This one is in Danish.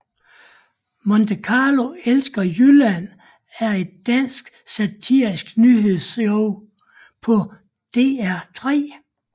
Monte Carlo elsker Jylland er et dansk satirisk nyhedsshow på DR3